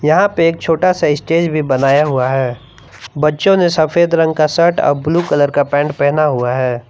यहां पे एक छोटा सा स्टेज भी बनाया हुआ है बच्चों ने सफेद रंग का शर्ट और ब्लू कलर का पैंट पहना हुआ है।